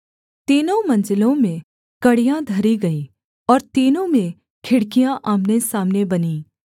तीनों मंजिलों में कड़ियाँ धरी गईं और तीनों में खिड़कियाँ आमनेसामने बनीं